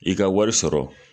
I ka wari sɔrɔ